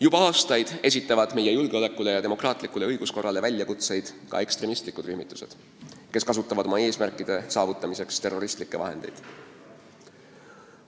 Juba aastaid on meie julgeolekule ja demokraatlikule õiguskorrale väljakutseid esitanud ekstremistlikud rühmitused, kes kasutavad oma eesmärkide saavutamiseks terroristlikke vahendeid.